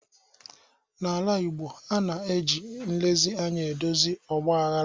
N'ala Igbo, a na-eji nlezi anya edozi ọgbaghara.